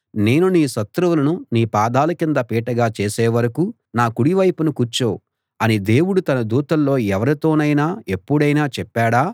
నేను నీ శత్రువులను నీ పాదాల కింద పీటగా చేసే వరకూ నా కుడి వైపున కూర్చో అని దేవుడు తన దూతల్లో ఎవరితోనైనా ఎప్పుడైనా చెప్పాడా